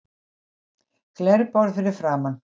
Glerborð fyrir framan.